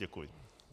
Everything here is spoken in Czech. Děkuji.